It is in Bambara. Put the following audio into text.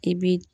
I bi